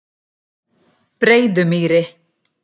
Breiðumýri